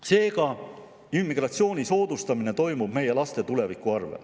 Seega, immigratsiooni soodustamine toimub meie laste tuleviku arvel.